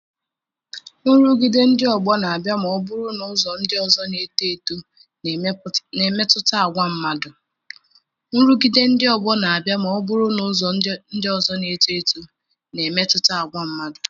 Nrụgide ndị ọgbọ na-abịa ma ọ bụrụ na ụzọ ndị ọzọ na-eto eto na-emetụta àgwà mmadụ.